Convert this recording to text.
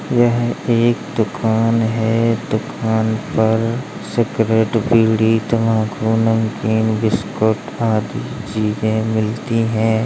यह एक दुकान है। दुकान पर सिगरेट बीड़ी तंबाकू नमकीन बिस्कुट आदि चीजें मिलती हैं।